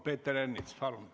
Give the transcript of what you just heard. Peeter Ernits, palun!